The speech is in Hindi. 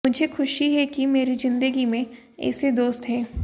मुझे खुशी है कि मेरी जिंदगी में ऐसे दोस्त हैं